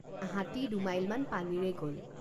হাতী দুমাইলমান পানীৰেই গল।